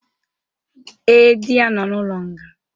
Ee, di ya nọ n'ụlo nga